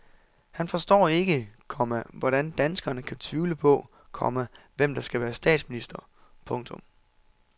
Han forstår ikke, komma hvordan danskerne kan tvivle på, komma hvem der skal være statsminister. punktum